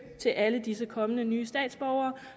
til alle disse kommende nye statsborgere